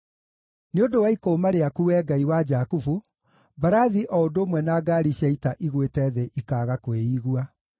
Nĩ ũndũ wa ikũũma rĩaku, Wee Ngai wa Jakubu, mbarathi o ũndũ ũmwe na ngaari cia ita igwĩte thĩ ikaaga kwĩigua.